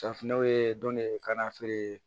Safinɛw ye dɔnke kana feere